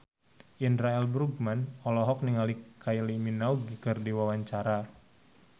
Indra L. Bruggman olohok ningali Kylie Minogue keur diwawancara